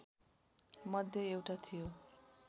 मध्ये एउटा थियो